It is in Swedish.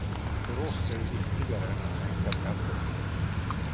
För oss är det viktigare än att sänka skatterna.